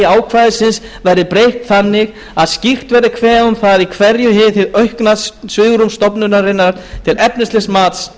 ákvæðisins verði breytt þannig að skýrt verði kveðið á um það í hverju hið aukna svigrúm stofnunarinnar til efnislegs mats